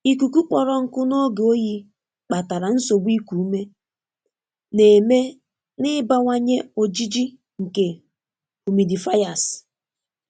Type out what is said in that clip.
Ikuku kpọrọ nkụ n'oge oyi kpatara nsogbu iku ume, na-eme n'ịbawanye ojiji nke humidifiers.